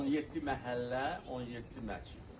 17 məhəllə, 17 məscid.